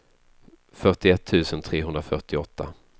fyrtioett tusen trehundrafyrtioåtta